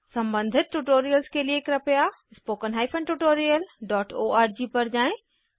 सम्बंधित ट्यूटोरियल्स के लिए कृपया विसित httpspoken हाइफेन tutorialओआरजी पर जाएँ